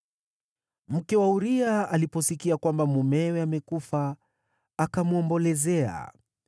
Mke wa Uria aliposikia kwamba mumewe amekufa, akamwombolezea.